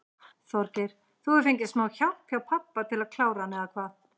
Þorgeir: Þú hefur fengið smá hjálp hjá pabba til að klára hann eða hvað?